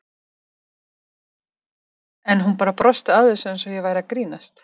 En hún bara brosti að þessu eins og ég væri að grínast.